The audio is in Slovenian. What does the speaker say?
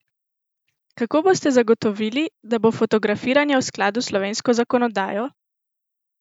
Kako boste zagotovili, da bo fotografiranje v skladu s slovensko zakonodajo?